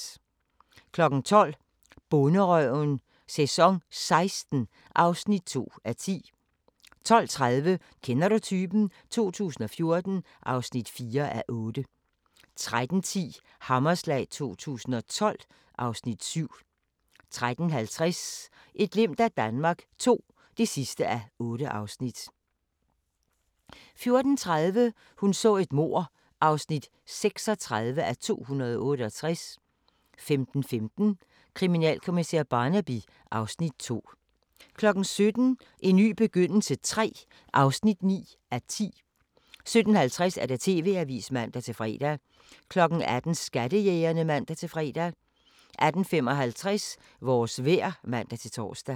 12:00: Bonderøven - sæson 16 (2:10) 12:30: Kender du typen? 2014 (4:8) 13:10: Hammerslag 2012 (Afs. 7) 13:50: Et glimt af Danmark II (8:8) 14:30: Hun så et mord (36:268) 15:15: Kriminalkommissær Barnaby (Afs. 2) 17:00: En ny begyndelse III (9:10) 17:50: TV-avisen (man-fre) 18:00: Skattejægerne (man-fre) 18:55: Vores vejr (man-tor)